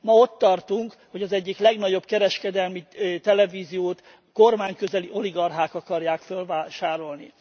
Ma ott tartunk, hogy az egyik legnagyobb kereskedelmi televíziót kormányközeli oligarchák akarják fölvásárolni.